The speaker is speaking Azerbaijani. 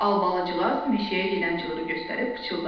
Albalıcığaz meşəyə gedən cığırı göstərib pıçıldadı.